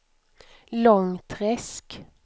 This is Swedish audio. Långträsk